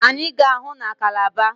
Anyị ga-ahụ na Kalaba.